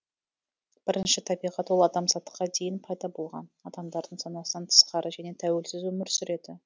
бірінші табиғат ол адамзатқа дейін пайда болған адамдардың санасынан тысқары және тәуелсіз өмір сүреді